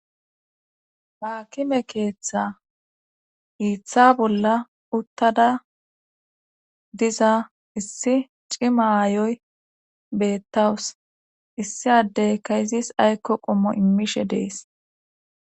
haakime keeththa hiiththa bolla uttada diza issi cimayoy beettawus issi addey ka izis aykko qommo immishe dees